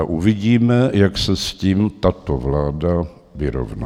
A uvidíme, jak se s tím tato vláda vyrovná.